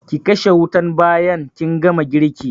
Ki kashe wutan bayan kin gama girki